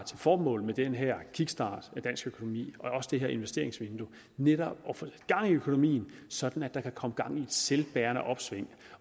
formål med den her kickstart af dansk økonomi og også det her investeringsvindue netop at få gang i økonomien sådan at der kan komme gang i et selvbærende opsving